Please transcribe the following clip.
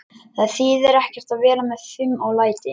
Það þýðir ekkert að vera með fum og læti.